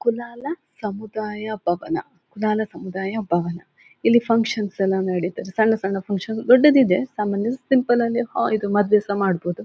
ಕುಲಾಲ ಸಮುದಾಯ ಭವನ ಕುಲಾಲ ಸಮುದಾಯ ಭವನ ಇಲ್ಲಿ ಫಂಕ್ಷನ್ ಎಲ್ಲ ನಡೀತದೆ ಸಣ್ಣ ಸಣ್ಣ ಫಂಕ್ಷನ್ ದೊಡ್ಡದು ಇದೆ ಸಾಮಾನ್ಯರು ಸಿಂಪಲ್ ಲ್ಲಿ ಹೊ ಇದು ಮದುವೆ ಸಹ ಮಾಡಬಹುದು.